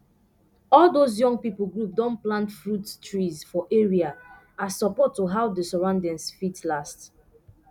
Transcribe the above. all those young pipu group don plant fruit um trees for area as support to how d surroundings fit last